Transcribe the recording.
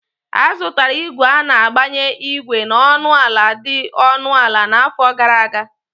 A zụtara ígwè a na-agbanye ígwè na ọnụ ala dị ọnụ ala n'afọ gara aga